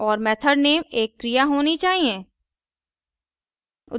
और method name एक क्रिया होनी चाहिए